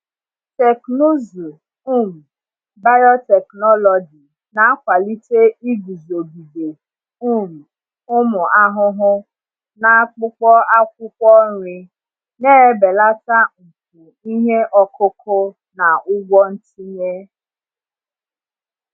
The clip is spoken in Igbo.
Teknụzụ um biotechnology na-akwalite iguzogide um ụmụ ahụhụ n’akpụkpọ akwụkwọ nri, na-ebelata mfu ihe ọkụkụ na ụgwọ ntinye.